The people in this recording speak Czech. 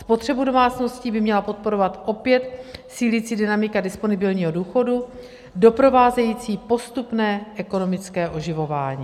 Spotřebu domácností by měla podporovat opět sílící dynamika disponibilního důchodu doprovázející postupné ekonomické oživování.